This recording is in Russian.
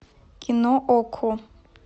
кино окко